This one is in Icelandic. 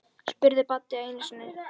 spurði Baddi einu sinni.